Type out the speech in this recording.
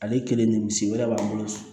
Ale kelen de misi wɛrɛ b'an bolo